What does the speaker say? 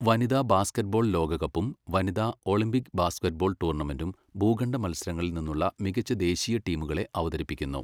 വനിതാ ബാസ്കറ്റ്ബോൾ ലോകകപ്പും വനിതാ ഒളിമ്പിക് ബാസ്കറ്റ്ബോൾ ടൂർണമെന്റും ഭൂഖണ്ഡ മത്സരങ്ങളിൽ നിന്നുള്ള മികച്ച ദേശീയ ടീമുകളെ അവതരിപ്പിക്കുന്നു.